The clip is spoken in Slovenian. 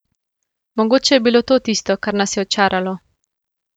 Mogoče je bilo to tisto, kar nas je očaralo.